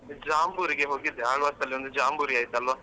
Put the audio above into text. ಜಾಂಬೂರಿಗೆ ಹೋಗಿದ್ದೆ Alva's ಅಲ್ಲಿ ಒಂದು ಜಾಂಬೂರಿ ಆಯ್ತಲ್ವಾ.